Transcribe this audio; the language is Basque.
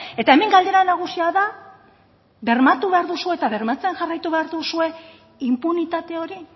eta hemen galdera nagusia da bermatu behar duzue eta bermatzen jarraitu behar duzue inpunitate hori